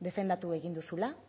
defendatu egin duzula